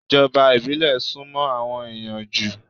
Ìjọba ìbílẹ̀ sún mọ́ àwọn ẹ̀yàn jù.